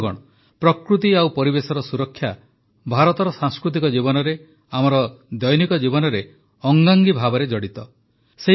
ବନ୍ଧୁଗଣ ପ୍ରକୃତି ଓ ପରିବେଶର ସୁରକ୍ଷା ଭାରତର ସାଂସ୍କୃତିକ ଜୀବନରେ ଆମର ଦୈନିକ ଜୀବନରେ ଅଙ୍ଗାଙ୍ଗୀ ଭାବେ ଜଡ଼ିତ